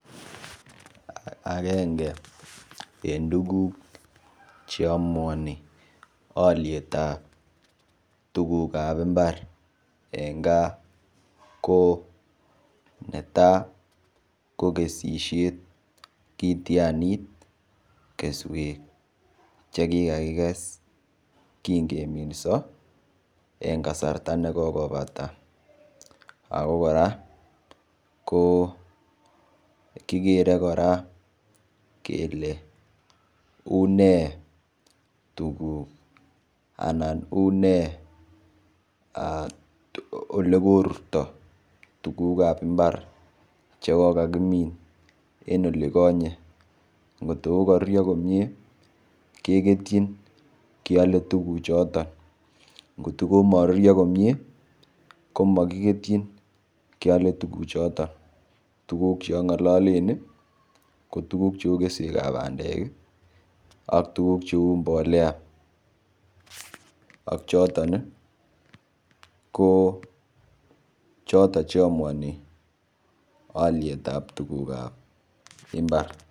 Akenge eng tukuk cheamuoni oliet ap tukuk ap mbar eng gaa kone tai ko kesishet kitianit keswek chekikakikes kingeminso engkasarta nekokobata ako kora ko kikere kora kele une tukuk anan une olekorurto tukuk ap mbar chwkokakimin en olikonye ngotkokarurio komie keketchin keole tukuk choton kotkokomarurio komie komakikerchi keale tukuchoton tukuk chongololen kotuku cheu keswek ap bandek ak tukuk cheu mbolea ak choton ko choto cheamuani aliet ap tukuk ap imbar.